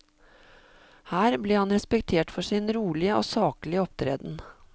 Her ble han respektert for sin rolige og saklige opptreden.